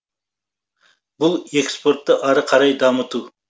бұл экспортты ары қарай дамыту